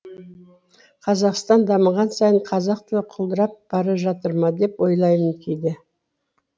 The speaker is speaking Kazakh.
қазақстан дамыған сайын қазақ тілі құлдырап бара жатыр ма деп ойлаймын кейде